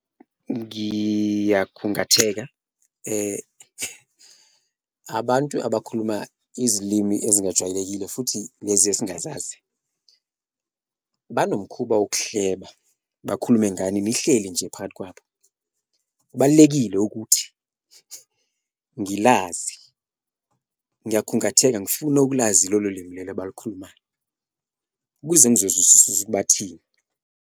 Ngiyakhungatheka abantu abakhuluma izilimi ezingajwayelekile futhi lezi esingazazi banomkhuba wokuhleba bakhulume ngani nihleli nje phakathi kwabo, kubalulekile ukuthi ngilazi ngiyakhungatheka ngifuna ukulazi lolo limi lelo abalukhulumayo kuze ukuthi bathini.